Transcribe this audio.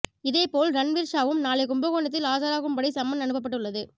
இதே போல் ரன்வீர்ஷாவும் நாளை கும்பகோணத்தில் ஆஜராகும்படி சம்மன் அனுப்பப்பட்டுள்ளது